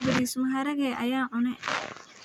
Baris maharage ayan cuune.